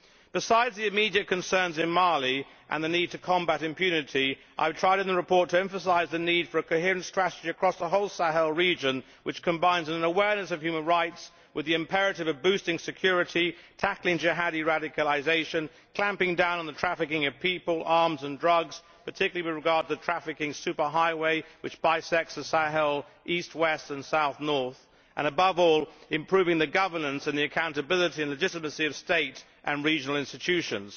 Besides the immediate concerns in Mali and the need to combat impunity, I have tried in the report to emphasise the need for a coherent strategy across the whole Sahel region which combines an awareness of human rights with the imperative of boosting security, tackling Jihadi radicalisation, clamping down on the trafficking of people, arms and drugs particularly with regard to the trafficking superhighway' which bisects the Sahel east west and south north and, above all, improving the governance, accountability and legitimacy of state and regional institutions.